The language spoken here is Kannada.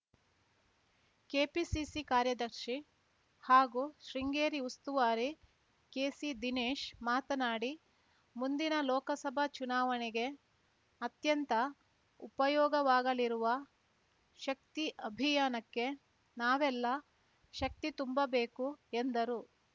ಕೆಪಿಸಿಸಿ ಕಾರ್ಯದರ್ಶಿ ಹಾಗೂ ಶೃಂಗೇರಿ ಉಸ್ತುವಾರಿ ಕೆಸಿದಿನೇಶ್‌ ಮಾತನಾಡಿ ಮುಂದಿನ ಲೋಕಸಭಾ ಚುನಾವಣೆಗೆ ಅತ್ಯಂತ ಉಪಯೋಗವಾಗಲಿರುವ ಶಕ್ತಿ ಅಭಿಯಾನಕ್ಕೆ ನಾವೆಲ್ಲಾ ಶಕ್ತಿ ತುಂಬಬೇಕು ಎಂದರು